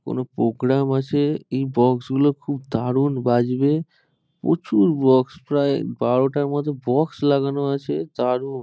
কোন প্রোগ্রাম আছে। এই বক্স গুলো খুব দারুণ বাজবে। প্রচুর বক্স প্রায় বারোটার মতো বক্স লাগানো আছে দারুন।